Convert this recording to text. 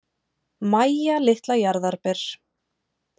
Mæja litla jarðarber.